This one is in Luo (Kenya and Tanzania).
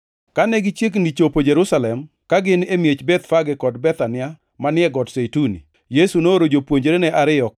Kane gichiegni chopo Jerusalem, ka gin e miech Bethfage kod Bethania manie Got Zeituni, Yesu nooro jopuonjrene ariyo